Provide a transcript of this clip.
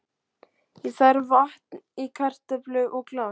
Ég þarf vatn í karöflu og glas.